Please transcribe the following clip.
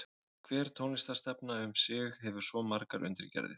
Hver tónlistarstefna um sig hefur svo margar undirgerðir.